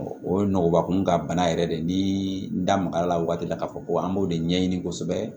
O ye nɔgɔbakun ka bana yɛrɛ de ni n da maga a la wagati la k'a fɔ ko an b'o de ɲɛɲini kosɛbɛ